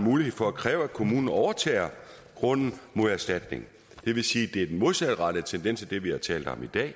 mulighed for at kræve at kommunen overtager grunden mod erstatning det vil sige at det er den modsatrettede tendens af det vi har talt om i dag